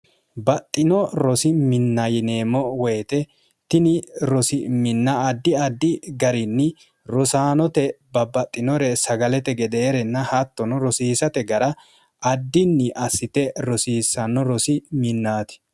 baxxino rosi minnayineemmo woyite tini rosi minna addi addi garinni rosaanote babbaxxinore sagalete gedeerenna hattono rosiisate gara addinni assite rosiissanno rosi minnaati